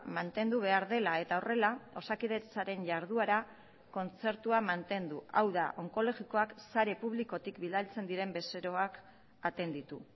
mantendu behar dela eta horrela osakidetzaren jarduera kontzertua mantendu hau da onkologikoak sare publikotik bidaltzen diren bezeroak atenditu